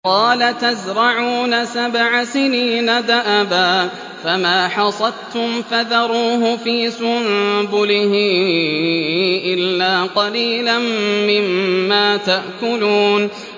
قَالَ تَزْرَعُونَ سَبْعَ سِنِينَ دَأَبًا فَمَا حَصَدتُّمْ فَذَرُوهُ فِي سُنبُلِهِ إِلَّا قَلِيلًا مِّمَّا تَأْكُلُونَ